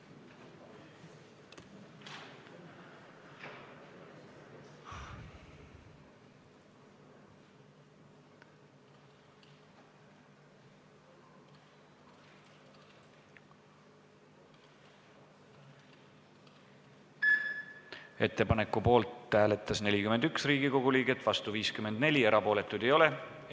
Hääletustulemused Ettepaneku poolt hääletas 41 Riigikogu liiget, vastu oli 54, erapooletuid ei ole.